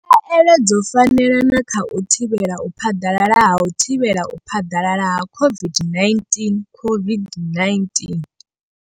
Khaelo dzo fanela na kha u thivhela u phaḓalala ha u thivhela u phaḓalala ha COVID-19 COVID-19.